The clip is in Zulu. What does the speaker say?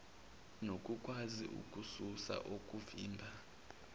nokukwazi ukususa okuvimba